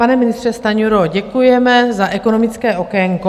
Pane ministře Stanjuro, děkujeme za ekonomické okénko.